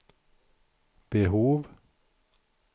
behov